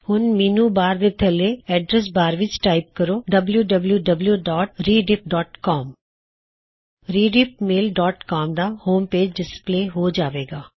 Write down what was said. ਹੁਣ menu bar ਦੇ ਥੱਲੇ ਐਡਰੈੱਸ ਬਾਰ ਵਿੱਚ ਟਾਇਪ ਕਰੋ wwwrediffcom ਰੀਡਿੱਫਮੇਲ ਡੌਟ ਕੌਮ ਦਾ ਹੋਮ ਪੇਜ ਡਿਸਪਲੇ ਹੋ ਜਾਵੇ ਗਾ